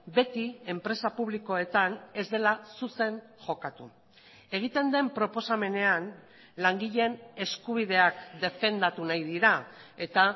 beti enpresa publikoetan ez dela zuzen jokatu egiten den proposamenean langileen eskubideak defendatu nahi dira eta